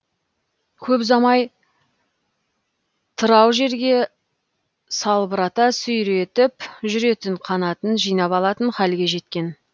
көп ұзамай тырау жерге салбырата сүйретіп жүретін қанатын жинап алатын халге жеткен